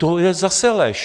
To je zase lež.